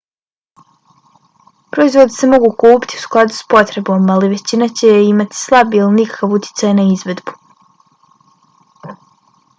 proizvodi se mogu kupiti u skladu s potrebom ali većina će imati slab ili nikakav utjecaj na izvedbu